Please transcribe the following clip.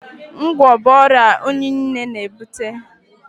Ngwọ̀ bụ ọrịa unyi na-ebute.